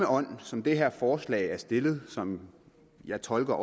ånd som det her forslag er stillet i som jeg tolker